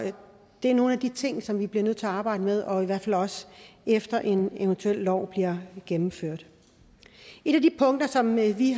det er nogle af de ting som vi bliver nødt til at arbejde med og i hvert fald også efter at en eventuel lov bliver gennemført et af de punkter som vi vi